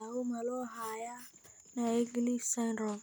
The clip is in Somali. Daawo ma loo hayaa Naegeli syndrome?